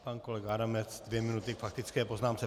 Pan kolega Adamec, dvě minuty k faktické poznámce.